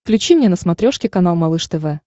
включи мне на смотрешке канал малыш тв